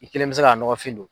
I kelen mɛ se k'a nɔgɔfin don.